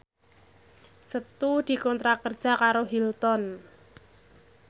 Setu dikontrak kerja karo Hilton